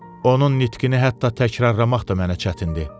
Onun nitqini hətta təkrarlamaq da mənə çətindir.